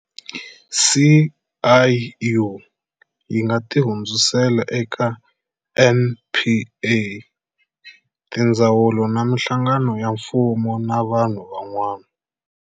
SIU yi nga ti hundzisela eka NPA, tindzawulo na mihlagano ya mfumo na vanhu van'wana.